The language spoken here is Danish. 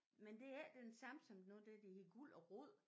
Men det er ikke den samme som noget af det der hedder Guld & Rod